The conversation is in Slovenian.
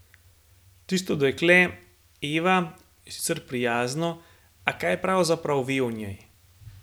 Tisto dekle, Eva, je sicer prijazno, a kaj pravzaprav ve o njej?